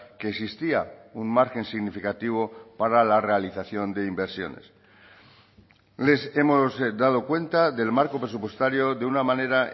que existía un margen significativo para la realización de inversiones les hemos dado cuenta del marco presupuestario de una manera